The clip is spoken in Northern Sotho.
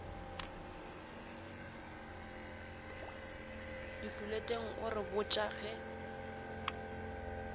difoleteng o re botša ge